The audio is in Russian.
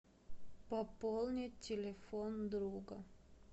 пополнить телефон друга